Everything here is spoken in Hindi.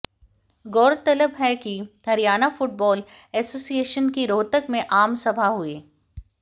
गौरतलब है कि हरियाणा फुटबाल एसोसिएशन की रोहतक में आम सभा हुई